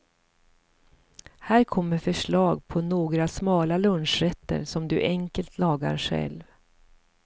Här kommer förslag på några smala lunchrätter som du enkelt lagar själv.